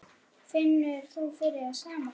Finnur þú fyrir því sama?